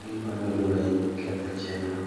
gigoyo lwenj ketho chenro.